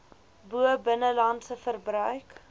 bo binnelandse verbruik